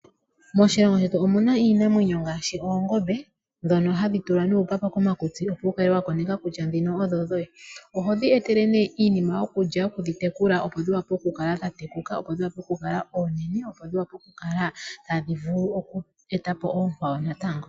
Moshilongo shetu omu na iinamwenyo ngaashi oongombe ndhono hadhi tulwa nuupapa komakutsi opo wu kale wa koneka kutya ndhino odho dhoye. Oho dhi etele nee iinima yokulya okudhi tekula opo dhi wape oku kala dha tekuka, opo dhi wape oku kala oonene, opo dhi wape okukala tadhi vulu oku e ta po oonkwawo natango.